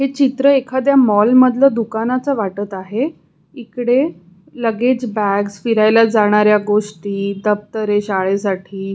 हे चित्र एखाद्या मॉल मधल्या दुकानाच वाटत आहे इकडे लग्गेज बॅग फिरायला जाणाऱ्या गोष्टी दप्तरे शाळेसाठी--